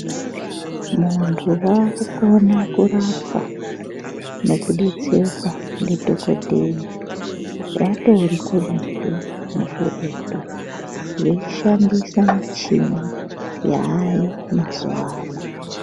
Vantu vakukona kurapwa nekudetserwa ndidhogodheya vatori kuretu nekuretu, veishandisa michini yaayo mazuvano.